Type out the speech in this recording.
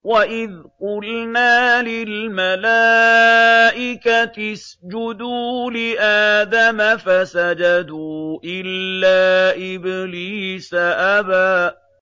وَإِذْ قُلْنَا لِلْمَلَائِكَةِ اسْجُدُوا لِآدَمَ فَسَجَدُوا إِلَّا إِبْلِيسَ أَبَىٰ